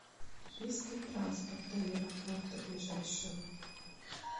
есть ли транспорт до аэропорта ближайшего